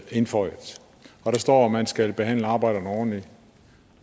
indføjet og der står at man skal behandle arbejderne ordentligt